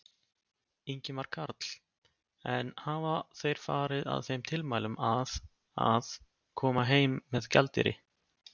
Ingimar Karl: En hafa þeir farið að þeim tilmælum að, að, koma heim með gjaldeyri?